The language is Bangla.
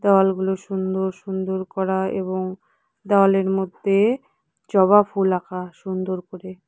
দেওয়ালগুলো সুন্দর সুন্দর করা এবং দেওয়ালের মধ্যে জবা ফুল আঁকা সুন্দর করে।